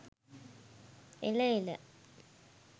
එල එල